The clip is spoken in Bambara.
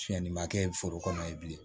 Fiɲɛ nin ma kɛ foro kɔnɔ ye bilen